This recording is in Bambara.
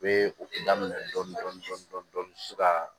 U bɛ o daminɛ dɔɔnin dɔɔnin so ka